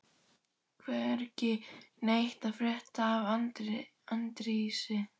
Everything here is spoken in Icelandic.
Hvergi neitt að frétta af Arndísi.